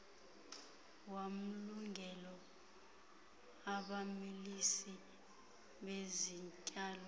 wamlungelo abamilisi bezityalo